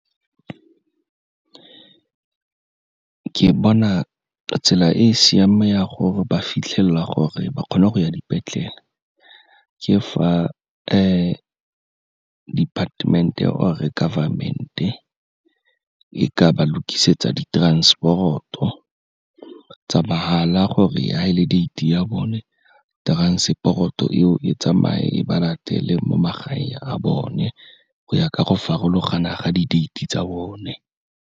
Ke bona ka tsela e e siameng ya gore ba fitlhelela gore ba kgona go ya dipetlele, ke fa department-e or-e government-e e ka ba lokisetsa di-transport-o tsa mahala gore fa e le date-e ya bone transport-o eo e tsamaye, e ba latele mo magaeng a bone, go ya ka go farologana ka di date-e tsa bone.